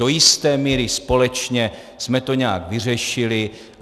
Do jisté míry společně jsme to nějak vyřešili.